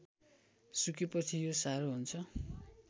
सुकेपछि यो साह्रो हुन्छ